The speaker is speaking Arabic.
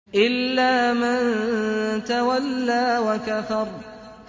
إِلَّا مَن تَوَلَّىٰ وَكَفَرَ